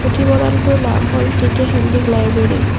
পুথিভঁৰালটোৰ নাম হল K K Handique library.